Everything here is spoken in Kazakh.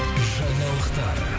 жаңалықтар